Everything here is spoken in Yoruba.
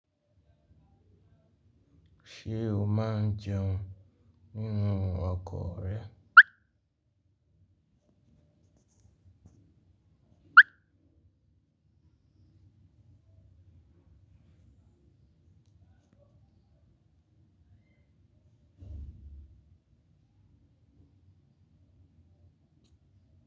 Ṣé o máa ń jẹun nínú ọkọ rẹ?